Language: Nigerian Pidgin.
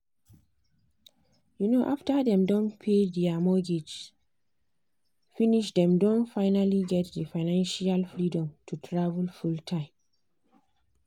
um after dem don pay their mortgage finishdem don finally get the financial freedom to travel full-time.